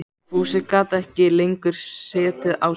Fúsi gat ekki lengur setið á sér.